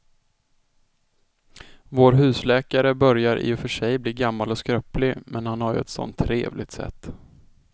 Vår husläkare börjar i och för sig bli gammal och skröplig, men han har ju ett sådant trevligt sätt!